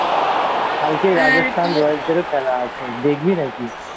কালকে Rajasthan Royals দেরও খেলা আছে দেখবি নাকি?